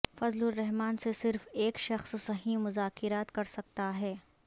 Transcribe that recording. فضل الرحمن سے صرف ایک شخص صحیح مذاکرات کرسکتا ہے